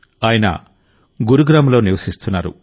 ఆయన గురుగ్రామ్లో నివసిస్తున్నారు